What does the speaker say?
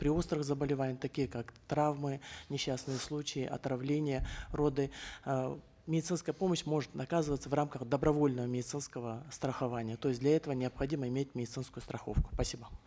при острых заболеваниях таких как травмы несчастные случаи отравления роды э медицинская помощь может оказываться в рамках добровольного медицинского страхования то есть для этого необходимо иметь медицинскую страховку спасибо